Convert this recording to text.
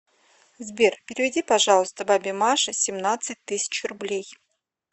сбер переведи пожалуйста бабе маше семнадцать тысяч рублей